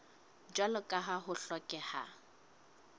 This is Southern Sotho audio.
jwalo ka ha ho hlokeha